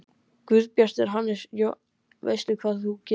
Guðbjartur Hannesson: Veist þú betur?